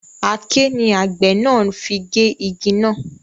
Aké ni àgbẹ̀ náà fi gé igi náà